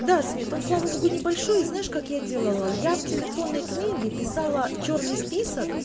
да свет он слава богу небольшой и знаешь как я делала я в телефонной книге писала чёрный список